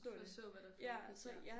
At forstå hvad der foregik ja